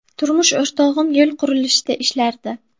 Turmush o‘rtog‘im yo‘l qurilishida ishlardi.